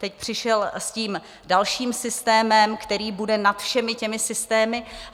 Teď přišel s tím dalším systémem, který bude nad všemi těmi systémy.